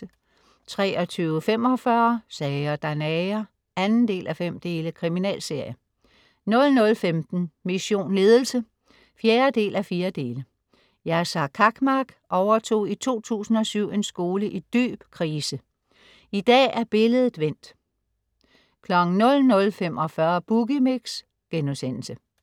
23.45 Sager der nager 2:5. Kriminalserie 00.15 Mission Ledelse 4:4. Yasar Cakmak overtog i 2007 en skole i dyb krise. I dag er billedet vendt 00.45 Boogie Mix*